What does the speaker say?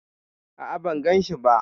A'a, ban ganshi ba.